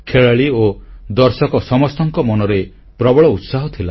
ଖେଳାଳି ଓ ଦର୍ଶକ ସମସ୍ତଙ୍କ ମନରେ ପ୍ରବଳ ଉତ୍ସାହ ଥିଲା